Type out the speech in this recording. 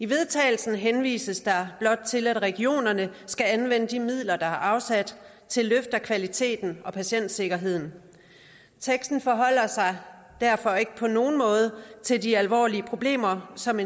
vedtagelse henvises der blot til at regionerne skal anvende de midler der er afsat til løft af kvaliteten og patientsikkerheden teksten forholder sig derfor ikke på nogen måde til de alvorlige problemer som